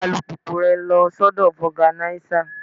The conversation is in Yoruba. Gbé alùpùpù rẹ lọ sọ́dọ̀ foganisa.